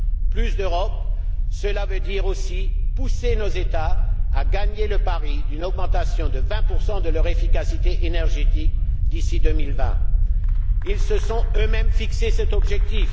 Plus d'Europe, cela veut dire aussi pousser nos États à gagner le pari d'une augmentation de vingt pour cent de leur efficacité énergétique d'ici 2020. Ils se sont eux mêmes fixé cet objectif.